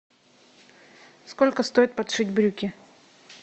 сколько стоит подшить брюки